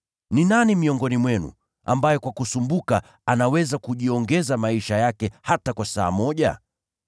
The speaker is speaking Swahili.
Ni nani miongoni mwenu ambaye kwa kujitaabisha kwake anaweza kujiongezea hata saa moja zaidi katika maisha yake?